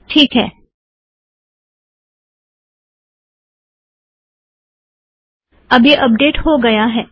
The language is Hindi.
टीक है- अब यह अपडेट हो गया है